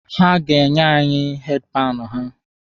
Ha ga-enye anyị heedi panụ ha